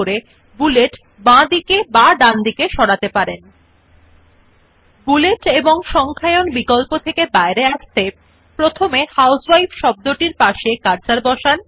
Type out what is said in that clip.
in order to turn off the bullets and numbering option first place the cursor next to the word housewife and click on the Enter key first and then click on the numbering of option in the bullets and numbering dialog box